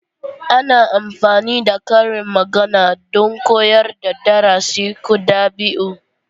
Ana amfani da karin magana don koyar da darasi ko dabi'u.